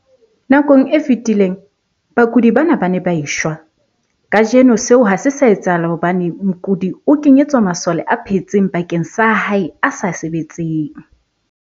Nakong e fetileng, bakudi bana ba ne ba e shwa. Kajeno seo ha se sa etsahala hobane mokudi o kenyetswa masole a phetseng bakeng sa a hae a sa sebetseng.